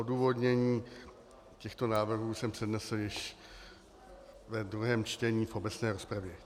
Odůvodnění těchto návrhů jsem přednesl již ve druhém čtení v obecné rozpravě.